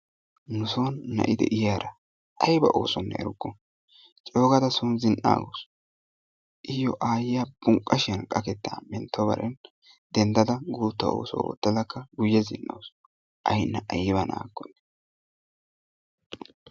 Nuso na'i de'iyaara ayba oosonne erukku, coogaada soona zina"aagaaau iyo aayiya bunqqashiyan qakkettaa menttobare denddada guuttaa oosuwa oottadakka guye ziin"awusu a Ina ayba na'akkonne